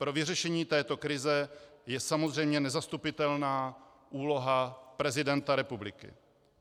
Pro vyřešení této krize je samozřejmě nezastupitelná úloha prezidenta republiky.